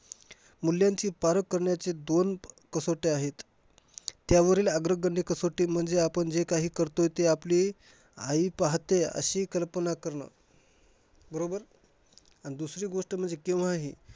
मूल्यांची पारख करण्याची दोन कसोट्या आहेत. त्यावरील अग्रगण्य कसोटी म्हणजे आपण जे काही करतोय ते आपली आई पाहतेय अशी कल्पना करणं. बरोबर? आणि दुसरी गोष्ट म्हणजे केव्हाही